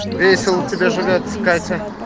весело тебе живётся катя